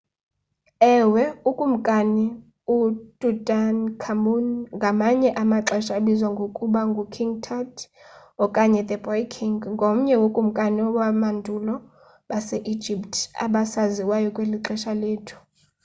ewe ukumkani ututankhamun ngamanye amaxesha abizwa ngokuba ngu king tut okanye the boy king ngomnye wokumkani bamandulo base-egypt abasaziwayo kweli xesha lethu